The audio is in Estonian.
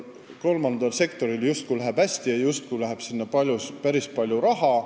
Kolmandal sektoril läheb justkui hästi: sinna läheb päris palju raha.